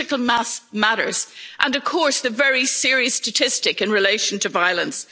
important. Critical mass matters, as does, of course, the very serious statistic in relation to